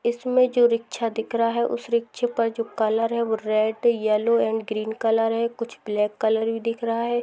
इसमें जो रिक्शा दिख रहा है उस रिक्शे पर जो कलर है वो red yellow and green colour है कुछ ब्लैक कलर भी दिख रहा है।